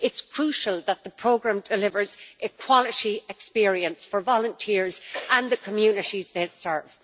It is crucial that the programme delivers a quality experience for volunteers and the communities they serve.